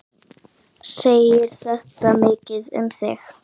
Segir þetta mikið um þig.